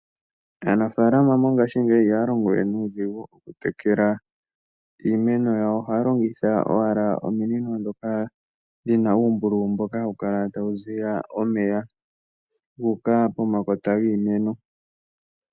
Aanafalama mongashingeyi ihaya longo we nuudhigu okutekela iimeno yawo. Ohaya longitha owala ominino ndhoka dhi na uumbululu mboka hawu kala tawu ziya omeya gu uka pomakota giimeno.